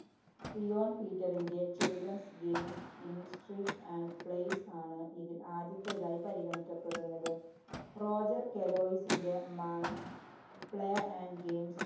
Eon‍ പീറ്ററിന്‍റെ Children games in street and place ആണ് ഇതില്‍ ആദ്യത്തേതായി പരിഗണിക്കപ്പെടുന്നത്. റോജര്‍ കെലോയിസിന്‍റെ Man play and Games